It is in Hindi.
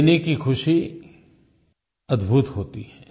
देने की ख़ुशी अद्भुत होती है